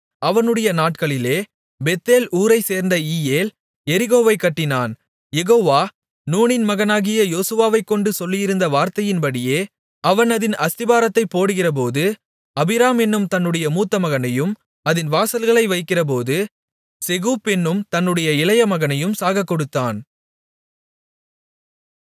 அவனுடைய நாட்களிலே பெத்தேல் ஊரைச்சேர்ந்த ஈயேல் எரிகோவைக் கட்டினான் யெகோவா நூனின் மகனாகிய யோசுவாவைக்கொண்டு சொல்லியிருந்த வார்த்தையின்படியே அவன் அதின் அஸ்திபாரத்தைப் போடுகிறபோது அபிராம் என்னும் தன்னுடைய மூத்த மகனையும் அதின் வாசல்களை வைக்கிறபோது செகூப் என்னும் தன்னுடைய இளைய மகனையும் சாகக்கொடுத்தான்